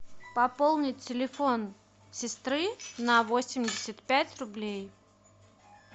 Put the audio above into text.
пополнить телефон сестры на восемьдесят пять рублей